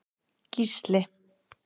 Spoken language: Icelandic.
Gísli